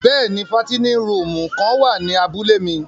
Bẹ́ẹ̀ni, fàtinin rùumù kan wa ni àbule mi.